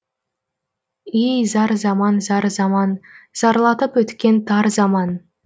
ей зар заман зар заман зарлатып өткен тар заман